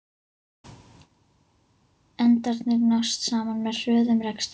Endarnir nást saman með hröðum rekstri.